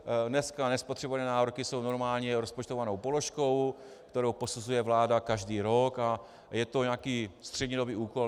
Dnes nespotřebované nároky jsou normálně rozpočtovanou položkou, kterou posuzuje vláda každý rok, a je to nějaký střednědobý úkol.